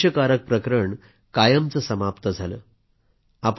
हे क्लेशकारक प्रकरण कायमचे समाप्त झाले